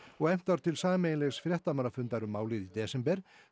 efnt var til sameiginlegs fréttamannafundar um málið í desember